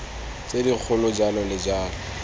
tse dikgolo jalo le jalo